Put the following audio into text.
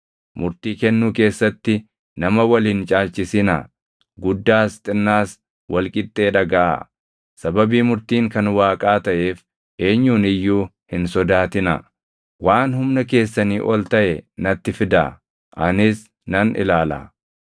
Murtii kennuu keessatti nama wal hin caalchisinaa; guddaas xinnaas wal qixxee dhagaʼaa. Sababii murtiin kan Waaqaa taʼeef eenyuun iyyuu hin sodaatinaa. Waan humna keessanii ol taʼe natti fidaa; anis nan ilaalaa.”